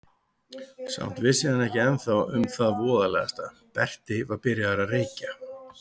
Samt vissi hann ekki ennþá um það voðalegasta: Berti var byrjaður að reykja.